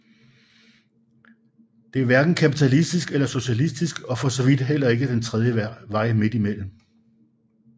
Det er hverken kapitalistisk eller socialistisk og for så vidt heller ikke den tredje vej midt imellem